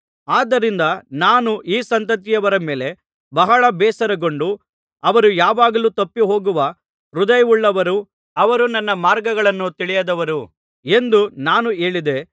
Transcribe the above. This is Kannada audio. ಆದ್ದರಿಂದ ನಾನು ಈ ಸಂತತಿಯವರ ಮೇಲೆ ಬಹಳ ಬೇಸರಗೊಂಡು ಅವರು ಯಾವಾಗಲೂ ತಪ್ಪಿಹೋಗುವ ಹೃದಯವುಳ್ಳವರೂ ಅವರು ನನ್ನ ಮಾರ್ಗಗಳನ್ನು ತಿಳಿಯದವರೂ ಎಂದು ನಾನು ಹೇಳಿದೆ